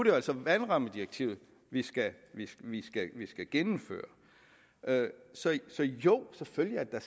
jo altså vandrammedirektivet vi skal vi skal gennemføre så jo selvfølgelig er